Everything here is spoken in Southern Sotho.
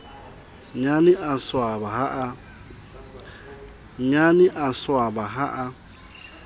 nnyane a swaba ha a